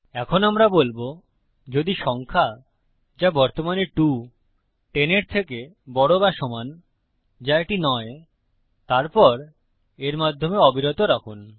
এখন আমরা বলবো যদি সংখ্যা যা বর্তমানে 2 10 এর থেকে বড় বা সমান যা এটি নয় তারপর এর মাধ্যমে অবিরত রাখুন